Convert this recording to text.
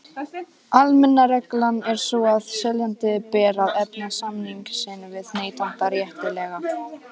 Almenna reglan er sú að seljanda ber að efna samning sinn við neytanda réttilega.